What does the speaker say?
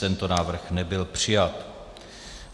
Tento návrh nebyl přijat.